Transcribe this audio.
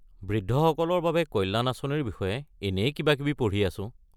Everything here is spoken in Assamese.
বৃদ্ধসকলৰ বাবে কল্যাণ আঁচনিৰ বিষয়ে এনেই কিবাকিবি পঢ়ি আছো।